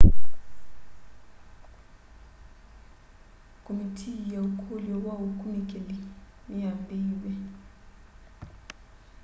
komitii ya ukulyo wa ukunikili niyambiiw'e